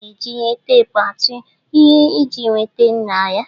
A na-eji ihe teepu atuu ihe iji nweta nha ya